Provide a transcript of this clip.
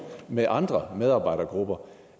med andre medarbejdergrupper